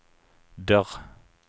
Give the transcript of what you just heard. dörr